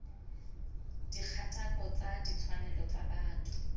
dikgatako tsa ditshwanelo tsa botho